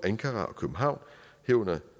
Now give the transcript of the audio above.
ankara og københavn herunder